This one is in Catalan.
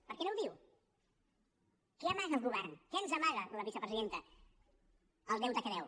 per què no ho diu què amaga el govern què ens amaga la vicepresidenta el deute que deu